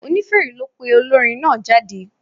Onífèrè ló pe olórin náà jáde.